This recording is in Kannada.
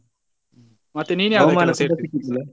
ಮತ್ತೆ ನೀನು ಯಾವುದಕ್ಕೆಲ್ಲ ಸೇರಿದ್ದಿ?